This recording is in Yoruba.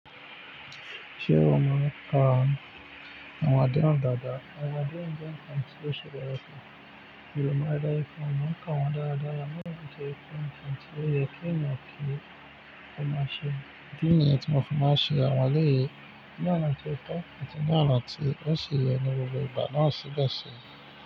Ṣé o mọ̀ nipa àwọn adéhùn dàda? Àwọn adéhùn jẹ́ nǹkan tí ó ṣe bẹ́ẹ̀ resi. Ìròyìn máa dára fún ọ, máa ń kà wọ́n dáadáa, àmọ́ òbí tó ń pè fún tí ó yẹ kí ènìyàn kí ó máa ṣe. Ìdí nìyẹn tí mo fi máa ṣe àwọn ọ̀rẹ́ yìí. Ní ọ̀nà tó tọ́, ní ọ̀nà tí ó ṣe yẹ ni gbogbo ìgbà ni wọ́n sì bá ṣe.